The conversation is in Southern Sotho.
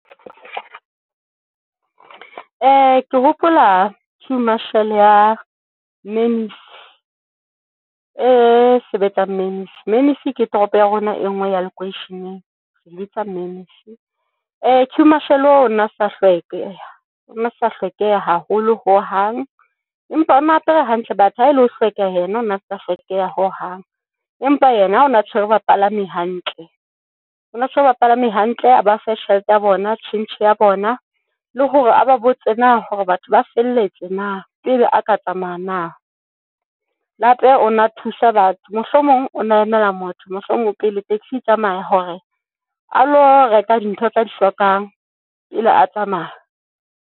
Ke hopola queue marshall ya Mannys e sebetsang Mannys. Mannys ke toropo ya rona e ngwe ya lekweisheneng, queue marshall o o na sa hlweke, o sa hlokeha haholo hohang empa o na apere hantle. But ha e le ho hlweka yena, o na sa hlokeha ho hang, empa yena ha ona tshwere bapalami hantle, O na tshwere bapalami hantle a ba fe tjhelete ya bona, tjhentjhe ya bona le hore aba botse hore batho ba felletse na pele a ka tsamaya na, le hape o na thusa batho mohlomong o na emela motho mohlomong pele taxi e tsamaya hore a lo reka dintho tsa di hlokang pele a tsamaya.